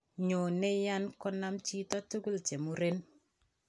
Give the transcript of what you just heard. Nyone yan kanam chito tugut chemuren